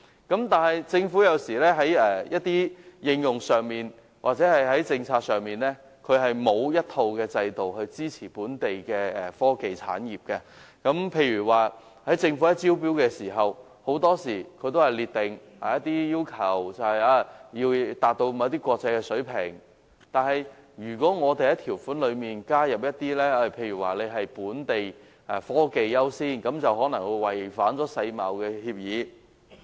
然而，政府有時候在應用上或政策上並沒有一套制度支持本地的科技產業，例如政府在招標時，很多時候會列明一些要求，包括要達到某些國際水平，但如果加入本地科技優先的條款，卻可能違反世界貿易組織的協議。